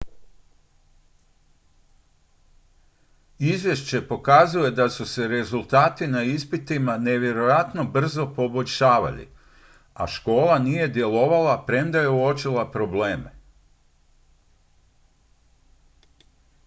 izvješće pokazuje da su se rezultati na ispitima nevjerojatno brzo poboljšavali a škola nije djelovala premda je uočila probleme